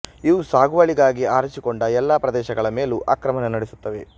ಇವು ಸಾಗುವಳಿಗಾಗಿ ಆರಿಸಿಕೊಂಡ ಎಲ್ಲ ಪ್ರದೇಶಗಳ ಮೇಲೂ ಆಕ್ರಮಣ ನಡೆಸುತ್ತವೆ